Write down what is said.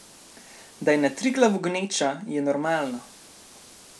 Da je na Triglavu gneča, je normalno.